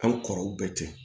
Hali kɔrɔw bɛɛ tɛ